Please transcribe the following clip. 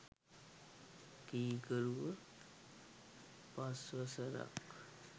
කීකරුව පස්වසරක්